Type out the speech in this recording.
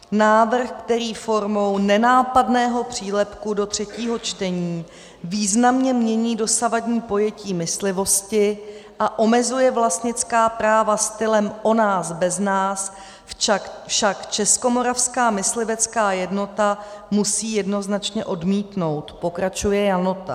Návrh, který formou nenápadného přílepku do třetího čtení významně mění dosavadní pojetí myslivosti a omezuje vlastnická práva stylem o nás bez nás, však Českomoravská myslivecká jednota musí jednoznačně odmítnout,' pokračuje Janota.